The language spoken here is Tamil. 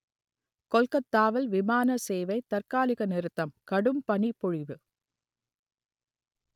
கொல்கத்தாவில் விமான சேவை தற்காலிக நிறுத்தம் கடும் பனிப்பொழிவு